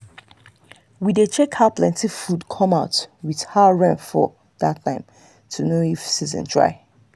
we dey check how plenty food come out with how rain fall that time to know if season try.